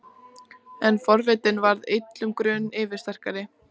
En forvitnin varð illum grun yfirsterkari.